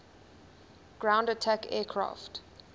ground attack aircraft